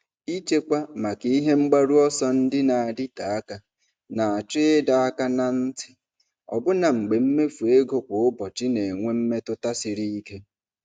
Ịchekwa maka ihe mgbaru ọsọ ndị na-adịte aka na-achọ ịdọ aka ná ntị, ọbụna mgbe mmefu ego kwa ụbọchị na-enwe mmetụta siri ike.